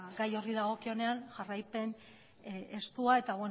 gai horri dagokionean jarraipen estua eta